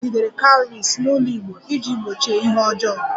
A kpọgidere Cowries n'ụlọ igbo iji gbochie ihe ọjọọ